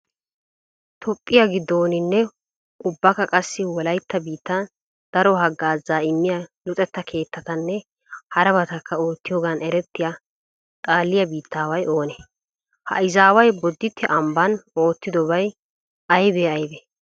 Toophphiya giddooninne ubbakka qassi wolaytta biittan daro haggaazaa immiya luxetta keettatanne harabatakka oottiyogan erettiya xaaliya biittaaway oonee? Ha izaaway bodditte ambban oottidobati aybee aybee?